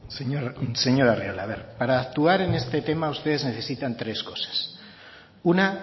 señor arriola a ver para actuar en este tema ustedes necesitan tres cosas una